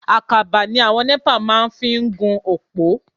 Àkàbà ni àwọn NEPA máa ń fi gún òpó.